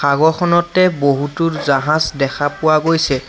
সাগৰখনতে বহুতো জাহাজ দেখা পোৱা গৈছে।